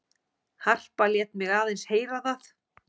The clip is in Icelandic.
Harpa lét mig aðeins heyra það.